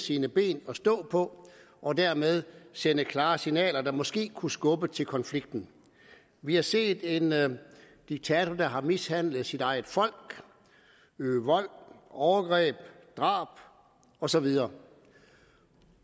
sine ben at stå på og dermed sende klare signaler der måske kunne skubbe til konflikten vi har set en diktator der har mishandlet sit eget folk øve vold overgreb drab og så videre